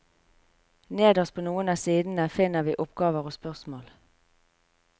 Nederst på noen av sidene finner vi oppgaver og spørsmål.